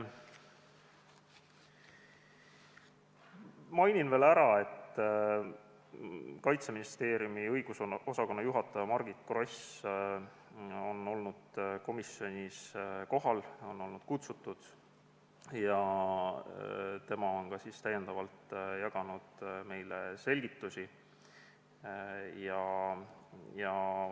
Mainin veel ära, et Kaitseministeeriumi õigusosakonna juhataja Margit Gross on komisjoni kohale kutsutud ja ta on jaganud meile selgitusi.